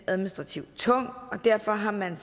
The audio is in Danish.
administrativt tung og derfor har man